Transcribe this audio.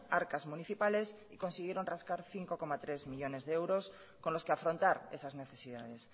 arcas municipales y consiguieron rascar cinco coma tres millónes de euros con los que afrontar esas necesidades